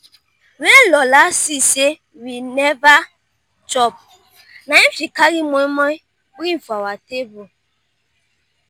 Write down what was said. when lola see say we never chop na im she carry moimoi bring for our table